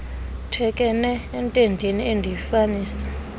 thekenee entendeni endiyifanisa